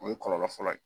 O ye kɔlɔlɔ fɔlɔ ye